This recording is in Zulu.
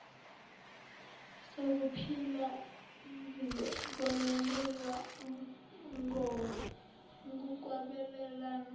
zokuphila ziyobonelelwa ngokwabelana